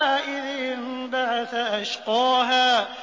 إِذِ انبَعَثَ أَشْقَاهَا